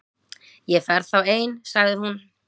Ég fer þá ein- sagði hún.